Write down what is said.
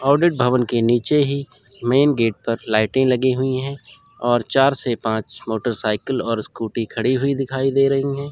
Audit भवन के नीचे ही मेन गेट पर लाइटें लगी हुई हैं और चार से पांच मोटरसाइकिल और स्कूटी खड़ी हुई दिखाई दे रही हैं।